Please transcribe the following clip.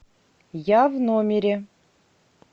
я в номере